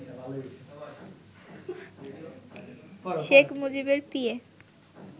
শেখ মুজিবের পিএ